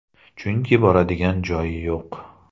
Chunki boradigan joyi yo‘q.